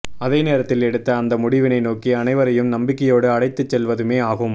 அதே நேரத்தில் எடுத்த அந்த முடிவினை நோக்கி அனைவரையும் நம்பிக்கையோடு அழைத்துச் செல்வதுமே ஆகும்